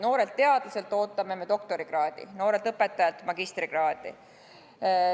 Noorelt teadlaselt ootame me doktorikraadi, noorelt õpetajalt magistrikraadi.